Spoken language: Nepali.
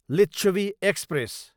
लिच्छवि एक्सप्रेस